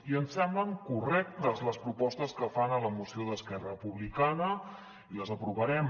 i ens semblen correctes les propostes que fan a la moció d’esquerra republicana i les aprovarem